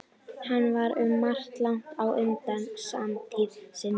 Hann var um margt langt á undan samtíð sinni.